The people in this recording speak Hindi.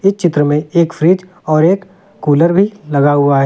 इस चित्र में एक फ्रिज और एक कूलर भी लगा हुआ है।